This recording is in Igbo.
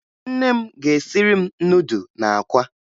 Nne m ga-esiri m nudụ na akwa